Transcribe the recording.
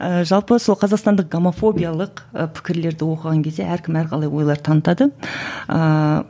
ыыы жалпы сол қазақстандық гомофобиялық пікірлерді оқыған кезде әркім әрқалай ойлар танытады ыыы